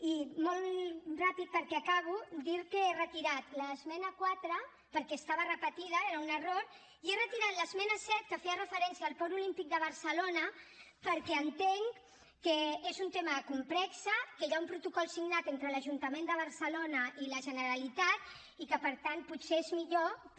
i molt ràpid perquè acabo dir que he retirat l’esmena quatre perquè estava repetida era un error i he retirat l’esmena set que feia referència al port olímpic de barcelona perquè entenc que és un tema complex que hi ha un protocol signat entre l’ajuntament de barcelona i la generalitat i que per tant potser és millor que